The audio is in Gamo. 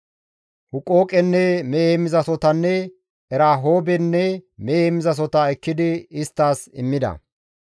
Huqooqenne mehe heemmizasohotanne Erahoobenne mehe heemmizasohota ekkidi isttas immida.